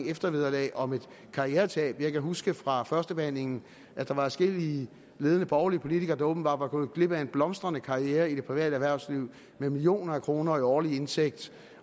eftervederlag om et karrieretab jeg kan huske fra førstebehandlingen at der var adskillige ledende borgerlige politikere der åbenbart er gået glip af en blomstrende karriere i det private erhvervsliv med millioner af kroner i årlig indtægt